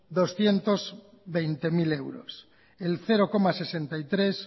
doscientos veinte mil euros el cero coma sesenta y tres